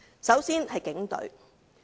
首先是警隊。